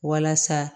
Walasa